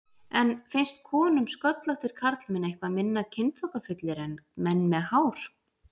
En finnst konum sköllóttir karlmenn eitthvað minna kynþokkafullir en menn með hár?